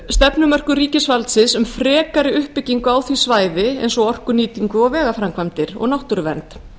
stefnumörkun ríkisvaldsins um frekari uppbyggingu á því svæði eins og orkunýtingu og vegaframkvæmdir og náttúruvernd